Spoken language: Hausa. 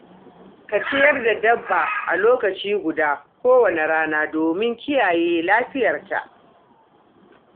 Ka ciyar da dabba a lokaci guda kowace rana domin kiyaye lafiyarta.